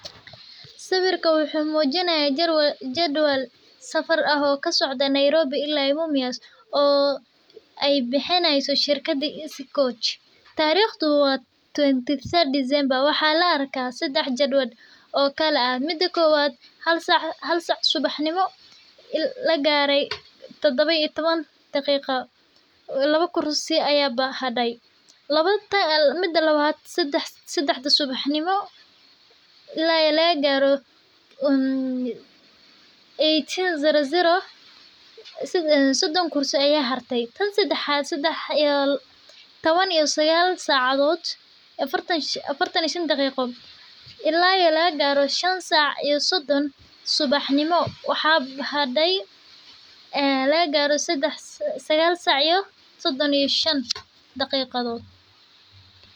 Sawirka wuxuu mujinaaya jadwal safar ah oo kasocda Nairobi ilaa lama tariiq sedex jadwal oo kala ah hal saac subaxnimo sedexda subaxnimo ilaa laba saac sodon kursi ayaa harte afartan iyo shan daqiiqo waxaa hartay sagaal saac sodon iyo shan daqiiqo.